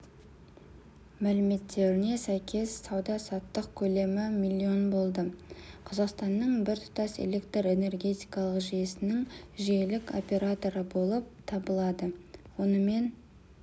мәліметіне сәйкес сауда-саттық көлемі миллион болды қазақстанның біртұтас электр энергетикалық жүйесінің жүйелік операторы болып табылады онымен